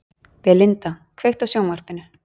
Belinda, kveiktu á sjónvarpinu.